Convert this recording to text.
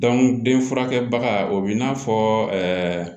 den furakɛbaga o bi n'a fɔ ɛɛ